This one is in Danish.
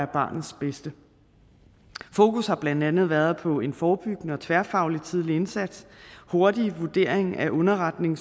barnets bedste fokus har blandt andet været på en forebyggende og tværfaglig tidlig indsats hurtig vurdering af underretning